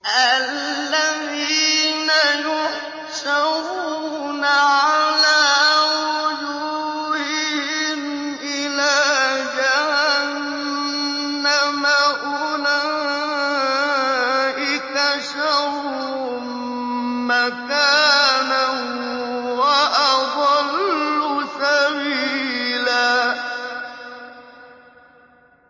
الَّذِينَ يُحْشَرُونَ عَلَىٰ وُجُوهِهِمْ إِلَىٰ جَهَنَّمَ أُولَٰئِكَ شَرٌّ مَّكَانًا وَأَضَلُّ سَبِيلًا